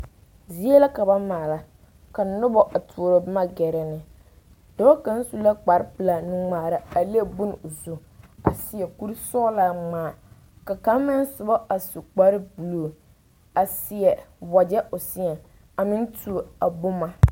Zie la ka ba maala ka noba a tuo a boma gɛrɛ ne dɔɔ kaŋ su la kparepelaa nuŋmaara a leŋ bone o zu seɛ kuri sɔglaa ŋmaa ka kaŋ meŋ soba a su kparebulu a seɛ wagyɛ o seɛŋ a meŋ tuo a boma.